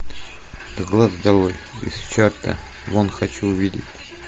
с глаз долой из чарта вон хочу увидеть